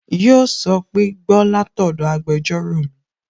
Yíò sọ pé "Gbọ́ látọ̀dọ̀ agbẹjọ́rò mi!"